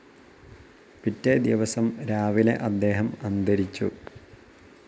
പിറ്റേദിവസം രാവിലെ അദ്ദേഹം അന്തരിച്ചു.